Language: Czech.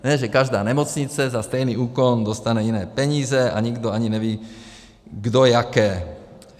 Ne že každá nemocnice za stejný úkon dostane jiné peníze a nikdo ani neví, kdo jaké.